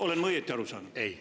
Olen ma õigesti aru saanud?